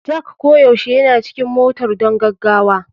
Jack koyaushe yana cikin motar don gaggawa.